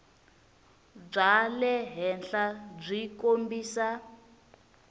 bya le henhla byi kombisa